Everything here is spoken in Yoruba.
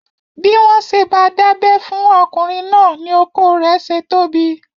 Bí wọ́n ṣe bá dábẹ́ fún ọkùnrin náà ni okó rẹ̀ ṣe tóbi.